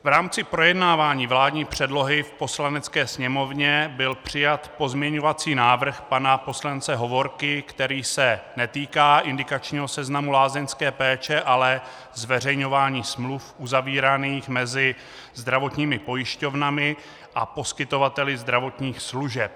V rámci projednávání vládní předlohy v Poslanecké sněmovně byl přijat pozměňovací návrh pana poslance Hovorky, který se netýká indikačního seznamu lázeňské péče, ale zveřejňování smluv uzavíraných mezi zdravotními pojišťovnami a poskytovateli zdravotních služeb.